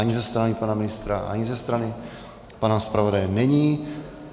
Ani ze strany pana ministra, ani ze strany pana zpravodaje není.